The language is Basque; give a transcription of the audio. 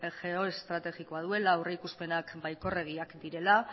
geoestrategikoa duela aurrikuspenak baikorregiak direla